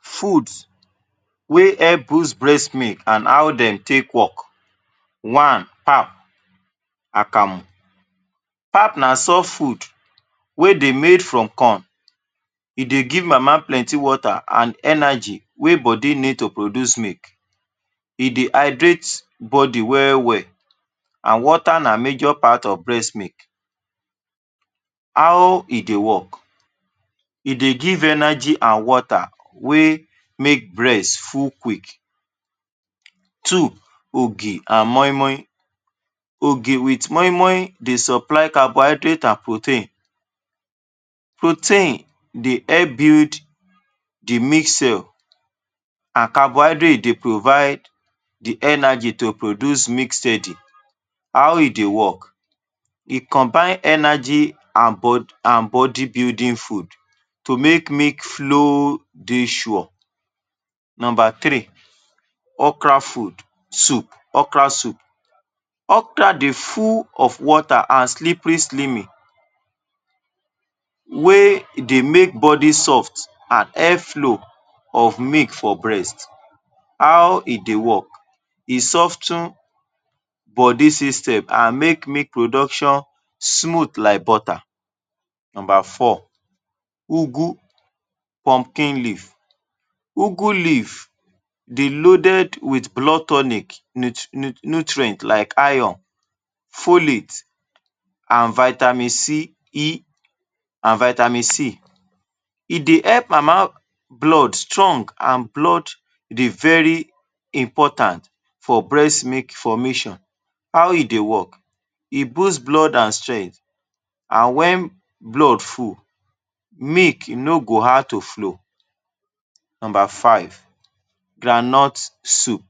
Food wey help boost breast milk and how dem take work One pap akamu pap na soft food wey dey made from corn, e dey give mama plenty water, and energy wey body need to produce milk, e dey hydrate body well-well and water na major part of breast milk. How e dey work? E dey give energy and water wey make breast full quick Two: ogi and moi-moi, ogi with moi-moi dey supply carbohydrate and protein, protein dey help build the mixture and carbohydrate dey provide the energy to produce mix steady. How e dey work? E combine energy and body building food to make milk flow dey sure. Number three: okra food soup okra soup, okra dey full of water and slippery slimmy wey e dey make body soft and air flow of milk for breast, how e dey work? E sof ten body sytem and make milk production smooth like butter Number four: ugwu pumpkin leaf ugwu leaf dey loaded with blood tonic nutrient like iron, folics, and vitamin c E and vitamin C, e dey help mama blood strong and blood dey very important for breast milk formation. How e dey work? E boost blood and strength and wen blood full, milk no go hard to flow. Number five: groundnut soup,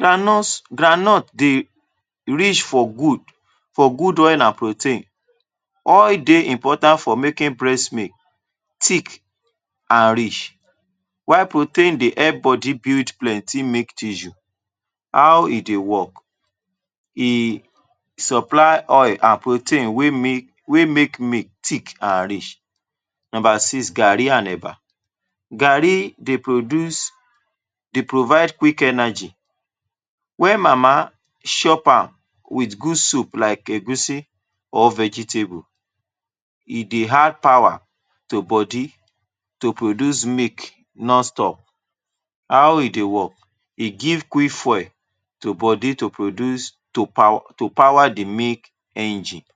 groundnut groundnut dey reach for good oil and protein, oil dey important for making breast milk thick and rich while protein dey help body build plenty milk tissue. How e dey work: e supply oil protein wey make make milk thick and rich. Number six: gari and eba, garri dey produce dey provide quick energy wen mama chop am with good soup like egusi or vegetable, e dey add power to body to produce milk nonstop. How e dey work? E give quick fuel to body to produce to power the milk engine.